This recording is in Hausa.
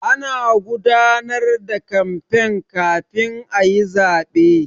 Ana gudanar da kamfen kafin a yi zaɓe.